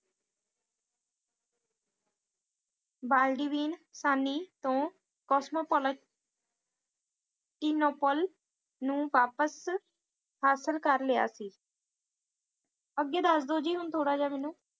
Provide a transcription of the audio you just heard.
ਬਾਲਡੀਵੀਨ ਸੈਣੀ ਤੋਂ ਕੋਸਮੋਪੋਲਟੀਨੋਪੋਲ ਨੂੰ ਵਾਪਿਸ ਹਾਸਿਲ ਕਰ ਲਿਆ ਸੀ ਅੱਗੇ ਦੱਸ ਦਿਓ ਜੀ ਹੁਣ ਥੋੜਾ ਜਿਹਾ ਮੈਨੂੰ